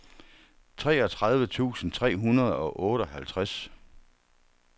treogtredive tusind tre hundrede og otteoghalvtreds